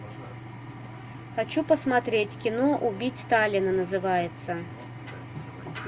хочу посмотреть кино убить сталина называется